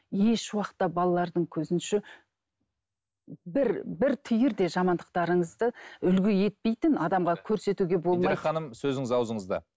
еш уақытта балалардың көзінше бір бір түйір де жамандықтарыңызды үлгі етпейтін адамға көрсетуге болмайды индира ханым сөзіңіз аузыңызда